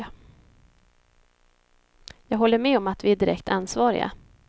Jag håller med om att vi är direkt ansvariga.